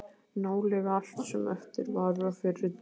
Nálega allt sem eftir var af fyrrum miðborg